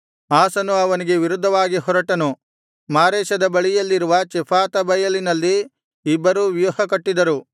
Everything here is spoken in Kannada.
ಆಸನು ಅವನಿಗೆ ವಿರುದ್ಧವಾಗಿ ಹೊರಟನು ಮಾರೇಷದ ಬಳಿಯಲ್ಲಿರುವ ಚೆಫಾತಾ ಬಯಲಿನಲ್ಲಿ ಇಬ್ಬರೂ ವ್ಯೂಹಕಟ್ಟಿದರು